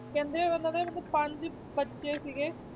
ਕਹਿੰਦੇ ਉਹਨਾਂ ਦੇ ਮਤਲਬ ਪੰਜ ਬੱਚੇ ਸੀਗੇ,